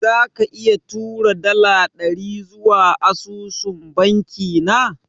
Zaka iya tura dala dari zuwa asusun banki na?